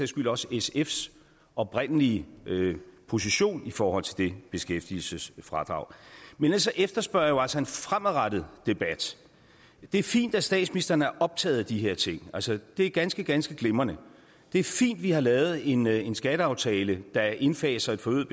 skyld også sfs oprindelige position i forhold til det beskæftigelsesfradrag men ellers efterspørger jeg jo altså en fremadrettet debat det er fint at statsministeren er optaget af de her ting altså det er ganske ganske glimrende det er fint at vi har lavet en en skatteaftale der indfaser et forøget